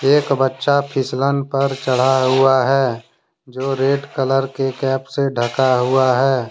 एक बच्चा फिसलन पर चढ़ा हुआ है जो रेड कलर के कैप से ढका हुआ है।